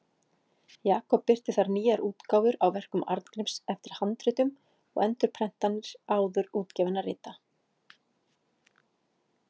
Jakob birti þar nýjar útgáfur á verkum Arngríms eftir handritum og endurprentanir áður útgefinna rita.